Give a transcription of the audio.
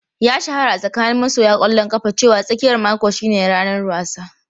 Ya shahara a tsakanin masoya ƙwallon kafa cewa tsakiyar mako shine ranar wasa.